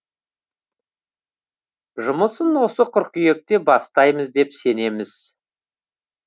жұмысын осы қыркүйекте бастаймыз деп сенеміз